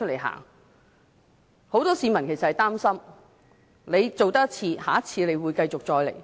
很多市民也擔心，政府這次這樣做，下次也會這樣做。